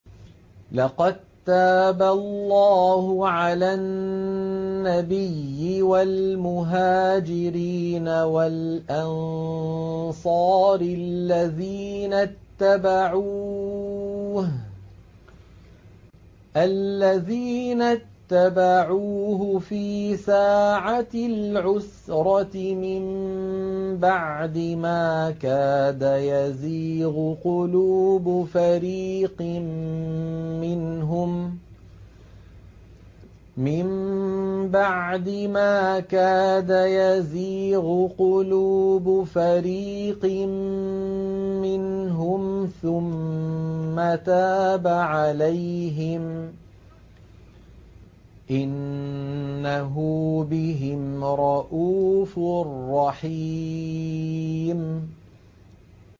لَّقَد تَّابَ اللَّهُ عَلَى النَّبِيِّ وَالْمُهَاجِرِينَ وَالْأَنصَارِ الَّذِينَ اتَّبَعُوهُ فِي سَاعَةِ الْعُسْرَةِ مِن بَعْدِ مَا كَادَ يَزِيغُ قُلُوبُ فَرِيقٍ مِّنْهُمْ ثُمَّ تَابَ عَلَيْهِمْ ۚ إِنَّهُ بِهِمْ رَءُوفٌ رَّحِيمٌ